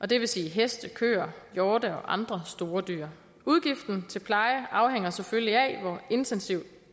det vil sige heste køer hjorte og andre store dyr udgiften til pleje afhænger selvfølgelig af hvor intensiv